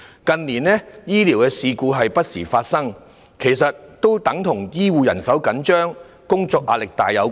近年，醫療事故不時發生，實際是與醫護人手緊絀及工作壓力沉重有關。